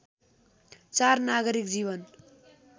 ४ नागरिक जीवन